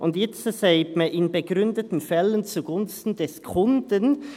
Jetzt sagt man: «in begründeten Fällen zugunsten des Kunden».